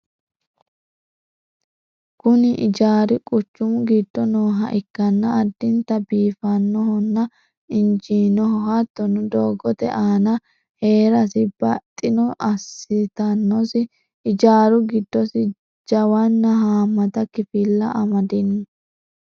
kuni ijaari quchumu giddo nooha ikkanna addinta biifinohonna injiinoho. hattonni dogote aana heerasi baxxino assitannosi. ijaaru giddosi jawanna haamata kifilla amadino.